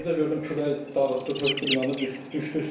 Birdə gördüm külək dağıtdı, tökdü binanın, düşdü üstünə.